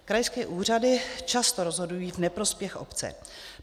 Krajské úřady často rozhodují v neprospěch obce.